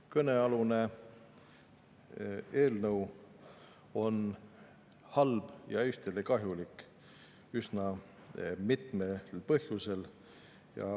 Kõnealune eelnõu on halb ja Eestile kahjulik üsna mitmel põhjusel.